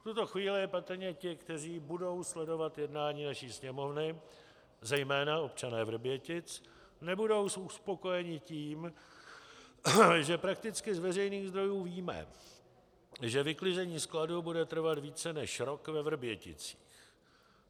V tuto chvíli patrně ti, kteří budou sledovat jednání naší Sněmovny, zejména občané Vrbětic, nebudou uspokojeni tím, že prakticky z veřejných zdrojů víme, že vyklizení skladu bude trvat více než rok ve Vrběticích.